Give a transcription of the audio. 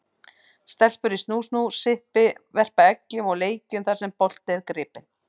Stelpur í snú-snú, sippi, verpa eggjum og leikjum þar sem bolti er gripinn.